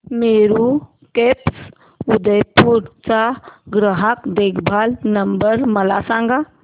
Meru cabs Udaipur चा ग्राहक देखभाल नंबर मला सांगा